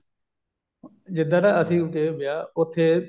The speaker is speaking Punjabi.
ਜਿੱਦਨ ਤਾਂ ਅਸੀਂ ਗਏ ਵਿਆਹ ਉੱਥੇ